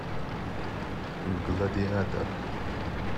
гладиатор